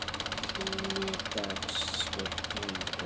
Tími dags skipti engu.